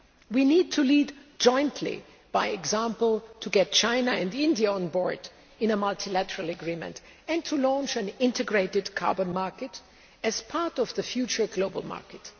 We need to lead jointly by example, to get China and India on board in a multilateral agreement and to launch an integrated carbon market as part of the future global market.